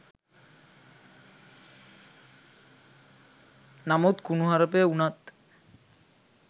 නමුත් කුණුහරපය උනත්